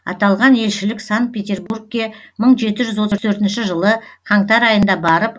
аталған елшілік санкт петербургке мың жеті жүз отыз төртінші жылы қаңтар айында барып